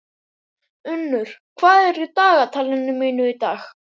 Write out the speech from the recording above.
Unnur, hvað er í dagatalinu mínu í dag?